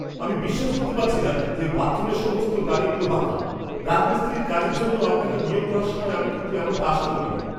আমি বিশ্বাস করতে পারছি না যে বাথরুমের সমস্ত টালিগুলো বাঁকা! রাজমিস্ত্রির কাজের জন্য আপনাকে নিয়োগ করার সময় আমি কিন্তু এমনটা আশা করিনি।